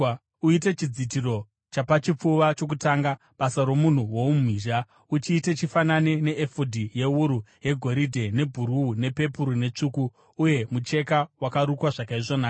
“Uite chidzitiro chapachipfuva chokutanga, basa romunhu woumhizha. Uchiite chifanane neefodhi yewuru yegoridhe, nebhuruu, pepuru netsvuku, uye mucheka wakarukwa zvakaisvonaka.